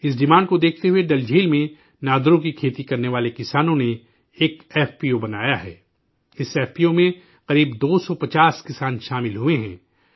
اس demand کو دیکھتے ہوئے ڈل جھیل میں نادرو کی کھیتی کرنے والے کسانوں نے ایک ایف پی او بنایا ہے اس ایف پی او می تقریباً 250 کسان شامل ہوئے ہیں